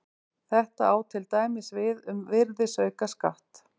Þetta á til dæmis við um virðisaukaskatt.